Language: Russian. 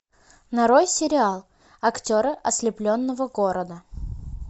нарой сериал актеры ослепленного города